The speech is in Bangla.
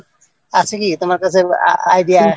আছে কি তোমার কাছে idea?